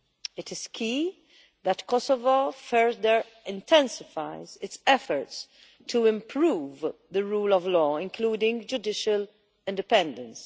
It is key that Kosovo further intensifies its efforts to improve the rule of law, including judicial independence.